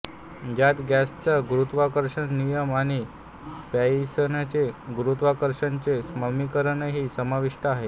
ज्यात गॉसचा गुरुत्वाकर्षणाचा नियम आणि पॉइसनचे गुरुत्वाकर्षणाचे समीकरणही समाविष्ट आहे